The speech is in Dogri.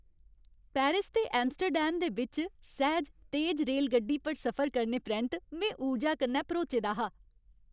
पैरिस ते एम्स्टेडैम दे बिच्च सैह्ज, तेज रेलगड्डी पर सफर करने परैंत्त में ऊर्जा कन्नै भरोचे दा हा।